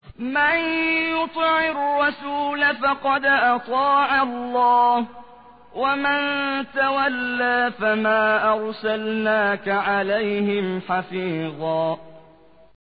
مَّن يُطِعِ الرَّسُولَ فَقَدْ أَطَاعَ اللَّهَ ۖ وَمَن تَوَلَّىٰ فَمَا أَرْسَلْنَاكَ عَلَيْهِمْ حَفِيظًا